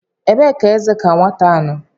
Ebee ka eze ka nwata nọ?